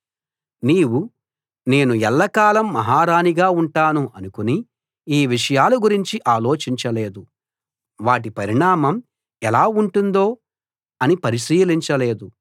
నీవు నేను ఎల్లకాలం మహారాణిగా ఉంటాను అనుకుని ఈ విషయాల గురించి ఆలోచించలేదు వాటి పరిణామం ఎలా ఉంటుందో అని పరిశీలించలేదు